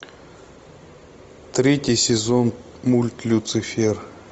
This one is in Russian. третий сезон мульт люцифер